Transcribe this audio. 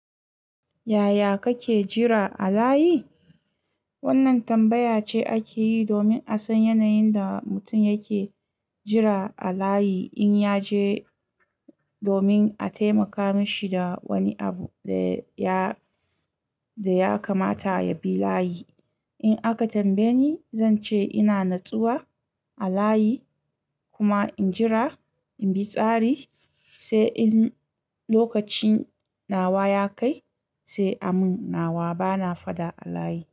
Yaya kake jira a layi? Wannan tambaya ce ake yi domin a san yanayin da mutum yake jira a layi in ya je domin a taimaka mashi da wani abu da ya kamata ya bi layi. In aka tambaye ni, zan ce ina natsuwa a layi kuma in jira in bi tsari, sai in lokacin nawa ya kai sai a mun nawa bana fada a layi.